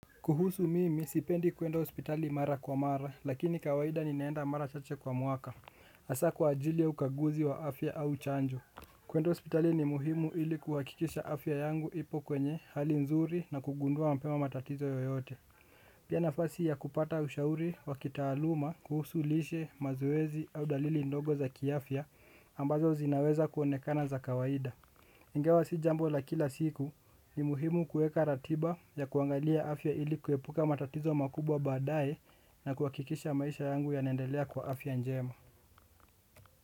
Kuhusu mimi sipendi kwenda hospitali mara kwa mara lakini kawaida ninaenda mara chache kwa mwaka. Hasa kwa ajili ya ukaguzi wa afya au chanjo. Kwenda hospitali ni muhimu ili kuhakikisha afya yangu ipo kwenye hali nzuri na kugundua mpema matatizo yoyote. Pia nafasi ya kupata ushauri wa kitaaluma kuhusu lishe mazoezi au dalili ndogo za kiafya ambazo zinaweza kuonekana za kawaida. Ingawa si jambo la kila siku ni muhimu kuweka ratiba ya kuangalia afya ili kuepuka matatizo makubwa baadaye na kuhakikisha maisha yangu yanaendelea kwa afya njema.